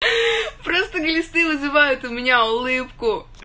просто глисты вызывают у меня улыбку